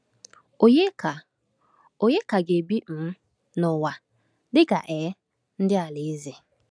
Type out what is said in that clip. Ònye ka Ònye ka ga-ebi um n’ụwa dịka um ndị Alaeze?